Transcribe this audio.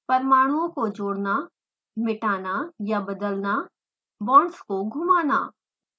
परमाणुओं को जोड़ना मिटाना या बदलना बॉन्ड्स को घुमाना